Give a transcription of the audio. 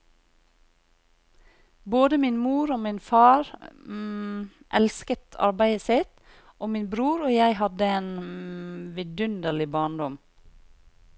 Både min mor og min far elsket arbeidet sitt, og min bror og jeg hadde en vidunderlig barndom.